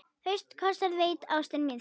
Fyrsta kossinn veitti ástin þín.